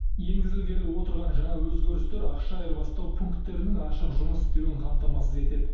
енгізілгелі отырған жаңа өзгерістер ақша айырбастау пунктерінің ашық жұмыс істеуін қамтамасыз етеді